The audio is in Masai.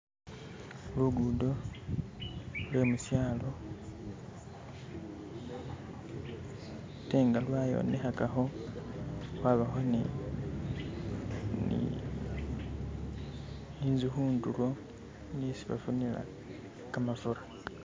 Luguudo lwe musyaalo ate nga lwayonekhakakho khwabakho ni ni inzu khundulo ni isi bafunila kamafura.